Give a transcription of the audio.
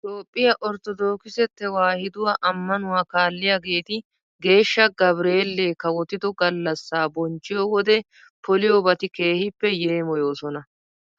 Toophphiya orttodookise tewaahiduwa ammanuwa kaalliyageeti geeshsha gabireellee kawotido gallassaa bonchchiyo wode poliyobati keehippe yeemoyooson.